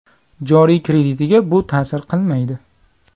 Joriy kreditiga bu ta’sir qilmaydi.